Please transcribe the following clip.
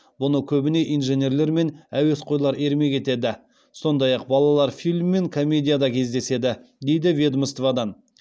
бұны көбіне инженерлер мен әуесқойлар ермек етеді сондай ақ балалар фильм мен комедияда кездеседі дейді ведомстводан